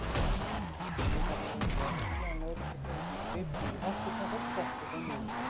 Unglingarnir reyndu að flýja en lögregluþjónarnir gripu í hetturnar og skelltu þeim niður.